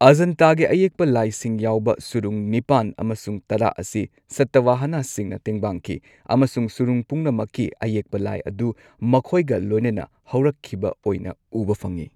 ꯑꯖꯥꯟꯇꯥꯒꯤ ꯑꯌꯦꯛꯄ ꯂꯥꯏꯁꯤꯡ ꯌꯥꯎꯕ, ꯁꯨꯔꯨꯡ ꯅꯤꯄꯥꯟ ꯑꯃꯁꯨꯡ ꯇꯔꯥ ꯑꯁꯤ ꯁꯇꯋꯥꯍꯥꯅꯥꯁꯤꯡꯅ ꯇꯦꯡꯕꯥꯡꯈꯤ꯫ ꯑꯃꯁꯨꯡ ꯁꯨꯔꯨꯡ ꯄꯨꯝꯅꯃꯛꯀꯤ ꯑꯌꯦꯛꯄ ꯂꯥꯏ ꯑꯗꯨ ꯃꯈꯣꯏꯒ ꯂꯣꯏꯅꯅ ꯍꯧꯔꯛꯈꯤꯕ ꯑꯣꯏꯅ ꯎꯕ ꯐꯪꯉꯤ꯫